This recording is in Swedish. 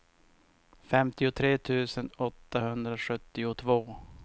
femtiotre tusen åttahundrasjuttiotvå